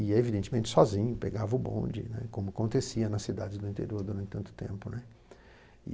E, evidentemente, sozinho, pegava o bonde, né, como acontecia nas cidades do interior durante tanto tempo, né.